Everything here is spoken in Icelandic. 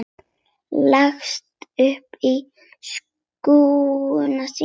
Leggst upp að skugga sínum.